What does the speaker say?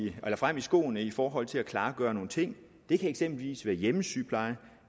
skoene i forhold til at klargøre nogle ting det kan eksempelvis være hjemmesygepleje